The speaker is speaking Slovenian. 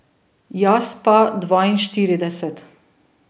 Jaz pa dvainštirideset.